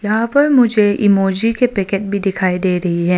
यहां पर मुझे इमोजी के पैकेट भी दिखाई दे रही है।